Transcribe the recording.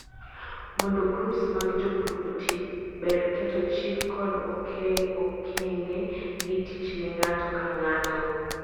mondo grups mag jopur otii, ber keto chik kod okenge gi tich ne ng'ato ka ng'ato